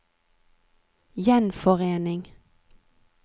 gjenforening